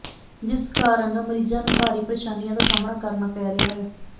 ਜਿਸ ਕਾਰਨ ਮਰੀਜਾਂ ਨੂੰ ਭਾਰੀ ਪੇ੍ਰਸ਼ਾਨੀਆਂ ਦਾ ਸਾਹਮਣਾ ਕਰਨਾ ਪੈ ਰਿਹਾ ਹੈ